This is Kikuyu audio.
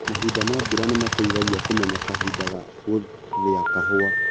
Mahinda ma mbura nĩmateithagia kũmenya kahinda ga gũthĩa kahũa.